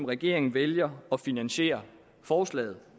regeringen vælger at finansiere forslaget